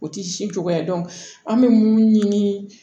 O ti si cogoya ye an bɛ mun ɲini